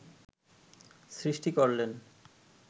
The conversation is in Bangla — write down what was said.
সৃষ্টি করলেন